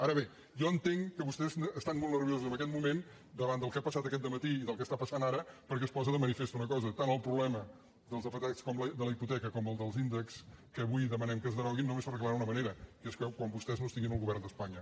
ara bé jo entenc que vostès estan molt nerviosos en aquest moment davant del que ha passat aquest de·matí i del que està passant ara perquè es posa de ma·nifest una cosa tant el problema dels afectats per la hipoteca com el dels índexs que avui demanem que es deroguin només s’arreglaran d’una manera que és quan vostès no estiguin en el govern d’espanya